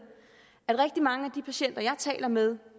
at rigtig mange af de patienter jeg taler med